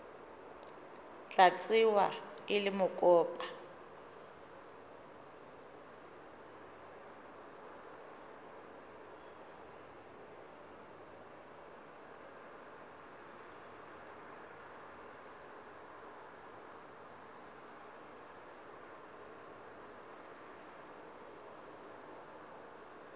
tla tsewa e le mokopa